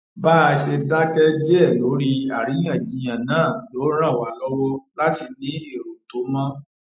bá a ṣe dáké díè lórí àríyànjiyàn náà ló ràn wá lówó láti ní èrò tó mó